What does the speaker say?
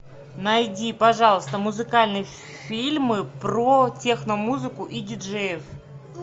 найди пожалуйста музыкальные фильмы про техно музыку и диджеев